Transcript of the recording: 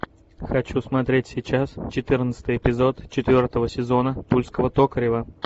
хочу смотреть сейчас четырнадцатый эпизод четвертого сезона тульского токарева